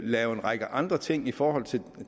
lave en række andre ting i forhold til